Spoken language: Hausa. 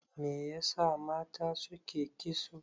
Me yasa mata suke kitso?